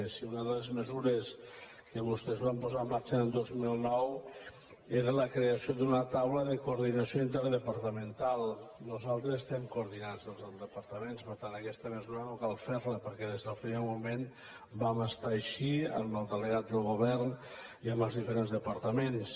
si una de les mesures que vostès van posar en marxa el dos mil nou era la creació d’una taula de coordinació interdepartamental nosaltres estem coordinats des dels departaments per tant aquesta mesura no cal fer la perquè des del primer moment vam estar així amb el delegat del govern i amb els diferents departaments